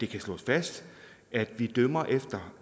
kan slås fast at vi dømmer efter